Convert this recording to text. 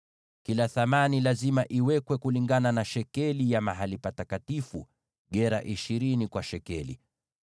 Kila thamani lazima iwekwe kulingana na shekeli ya mahali patakatifu, gera ishirini kwa shekeli.